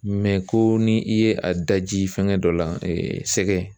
ko ni i ye a daji fɛngɛ dɔ la, sɛgɛn.